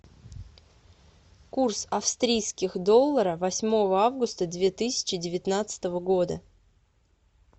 курс австрийских долларов восьмого августа две тысячи девятнадцатого года